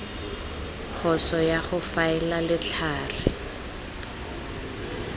phoso ya go faela letlhare